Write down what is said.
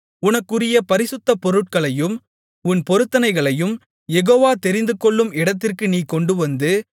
உனக்குரிய பரிசுத்த பொருட்களையும் உன் பொருத்தனைகளையும் யெகோவா தெரிந்துகொள்ளும் இடத்திற்கு நீ கொண்டுவந்து